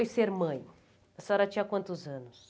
foi ser mãe? A senhora tinha quantos anos?